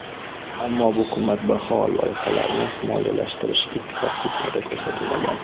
Ammo bu qimmatbaho loyihalarni moliyalashtirish ittifoq bitimida ko‘rsatilmagan.